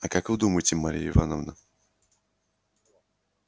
а как вы думаете марья ивановна